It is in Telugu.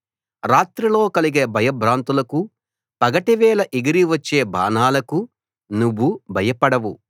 రాత్రిలో కలిగే భయభ్రాంతులకు పగటివేళ ఎగిరి వచ్చే బాణాలకూ నువ్వు భయపడవు